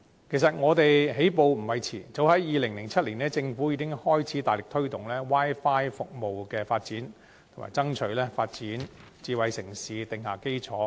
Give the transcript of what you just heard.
其實我們起步並不算遲，政府早在2007年已開始大力推動 Wi-Fi 服務的發展，以爭取為發展智慧城市定下基礎。